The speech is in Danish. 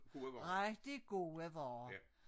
Rigtig gode vare